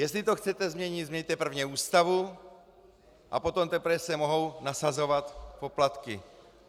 Jestli to chcete změnit, změňte prvně Ústavu, a potom teprve se mohou nasazovat poplatky.